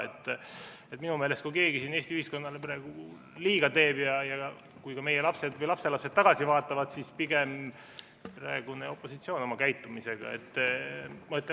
Minu meelest, kui küsida, kas keegi siin Eesti ühiskonnale praegu liiga teeb, siis kui ka meie lapsed või lapselapsed sellele tagasi vaatavad, nad näevad seda, et pigem on see praegune opositsioon oma käitumisega.